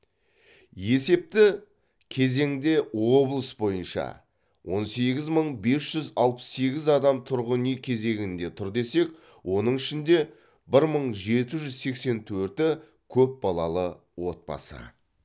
есепті кезеңде облыс бойынша он сегіз мың бес жүз алпыс сегіз адам тұрғын үй кезегінде тұр десек оның ішінде бір мың жеті жүз сексен төрті көпбалалы отбасы